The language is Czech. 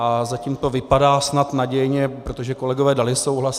A zatím to vypadá snad nadějně, protože kolegové dali souhlas.